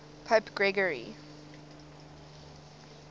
pope gregory